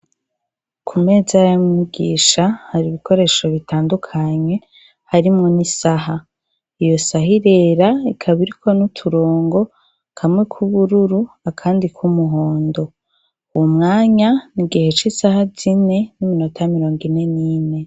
Ku meza ya mwigisha, hari ibikoresho bitandukanye harimo n'isaha. Iyo saha irera ikaba iriko n'uturongo, kamwe k'ubururu akandi k'umuhondo. Uwu mwanya ni gihe c'isaha zine n'iminota mirongo ine n'ine.